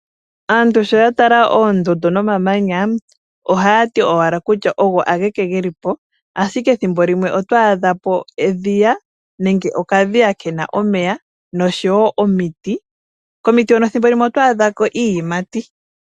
Aantu sho ya tala oondundu nomamanya ohaya ti ogo ageke geli po, ashike thimbolimwe oto adha po edhiya nenge okadhiya kena omeya nosho woo omiti. Komiti hono ethimbolimwe oto adha ko iiyimati.